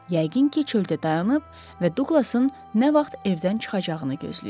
Yəqin ki, çöldə dayanıb və Duqlasın nə vaxt evdən çıxacağını gözləyib.